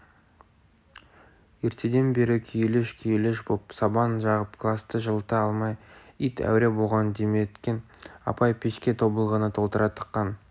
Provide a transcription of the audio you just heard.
ертеден бері күйелеш-күйелеш боп сабан жағып класты жылыта алмай ит әуре болған дәметкен апай пешке тобылғыны толтыра тыққан